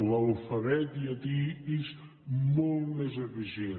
l’alfabet llatí és molt més eficient